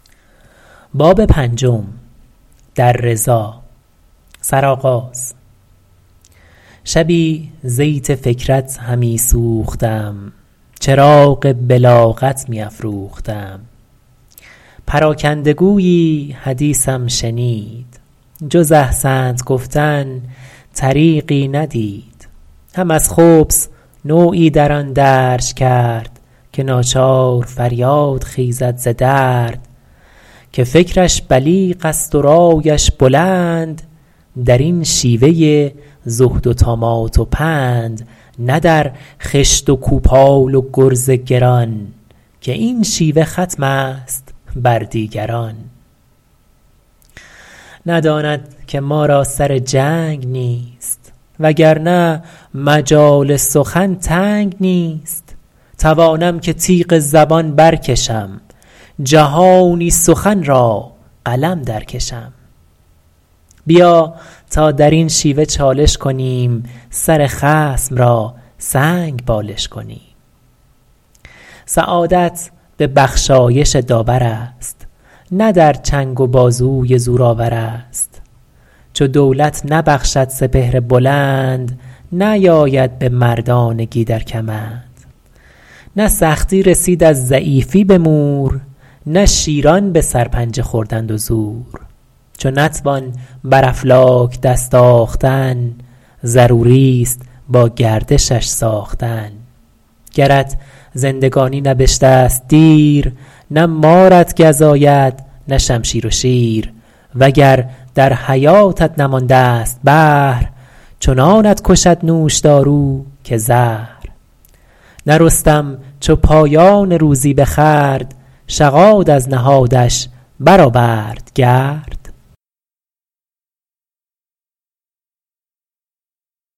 شبی زیت فکرت همی سوختم چراغ بلاغت می افروختم پراکنده گویی حدیثم شنید جز احسنت گفتن طریقی ندید هم از خبث نوعی در آن درج کرد که ناچار فریاد خیزد ز درد که فکرش بلیغ است و رایش بلند در این شیوه زهد و طامات و پند نه در خشت و کوپال و گرز گران که این شیوه ختم است بر دیگران نداند که ما را سر جنگ نیست وگر نه مجال سخن تنگ نیست توانم که تیغ زبان بر کشم جهانی سخن را قلم در کشم بیا تا در این شیوه چالش کنیم سر خصم را سنگ بالش کنیم سعادت به بخشایش داورست نه در چنگ و بازوی زور آورست چو دولت نبخشد سپهر بلند نیاید به مردانگی در کمند نه سختی رسید از ضعیفی به مور نه شیران به سرپنجه خوردند و زور چو نتوان بر افلاک دست آختن ضروری است با گردشش ساختن گرت زندگانی نبشته ست دیر نه مارت گزاید نه شمشیر و شیر وگر در حیاتت نمانده ست بهر چنانت کشد نوشدارو که زهر نه رستم چو پایان روزی بخورد شغاد از نهادش برآورد گرد